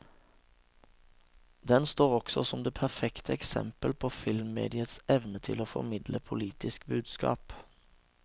Den står også som det perfekte eksempel på filmmediets evne til å formidle politiske budskap.